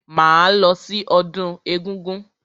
Máa lọ sí ọdún egúngún.